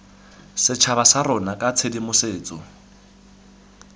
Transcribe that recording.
setšhaba sa rona ka tshedimosetso